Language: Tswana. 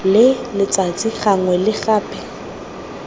le letsatsi gangwe le gape